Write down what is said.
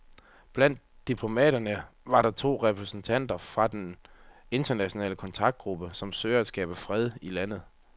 Blandt diplomaterne var to repræsentanter fra den internationale kontaktgruppe, som søger at skabe fred i landet.